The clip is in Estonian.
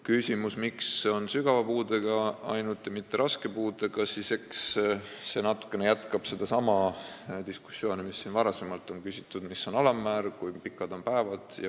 Küsimus, miks on siin arvestatud ainult sügava puudega, mitte ka raske puudega inimesi, natuke jätkab sedasama diskussiooni, kui siin on varem küsitud, et mis on alammäär ja kui palju neid päevi on.